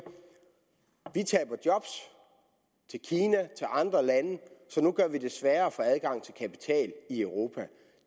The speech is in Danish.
vi taber job til kina til andre lande så nu gør vi det sværere at få adgang til kapital i europa